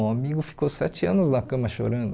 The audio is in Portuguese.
Um amigo ficou sete anos na cama chorando.